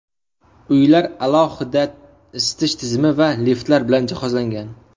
Uylar alohida isitish tizimi va liftlar bilan jihozlangan.